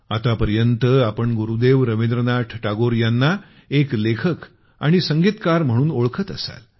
आतापर्यंत आपण गुरुदेव रवींद्रनाथ टागोर यांना एक लेखक आणि संगीतकार म्हणून ओळखत असाल